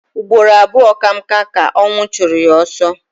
Ụgbọrọ abụọ ka m ka ọwnụ chọrọ ya ọsọ